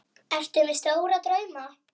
Ertu með stóra drauma?